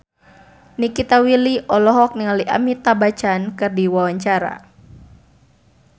Nikita Willy olohok ningali Amitabh Bachchan keur diwawancara